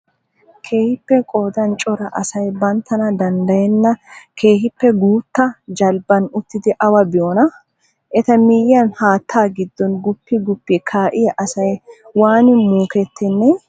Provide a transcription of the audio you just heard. Keehippe qoodan cora asay banttana danddayenna keehippe guutta jalbban uttidi awa biyoonaa? Eta miyyiyaan hatta giddon guppi guppi kaa'iyaa asay waani muukettennee?